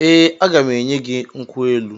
Ee, aga m enye gị nkwụ elu.